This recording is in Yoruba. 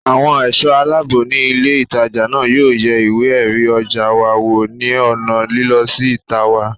Àwọn ẹ̀ṣọ́ aláàbò ní ilé ìtajà náà yóò yẹ ìwé ẹ̀rí ọjà wa wò ní ònà lílọ sí ìta wa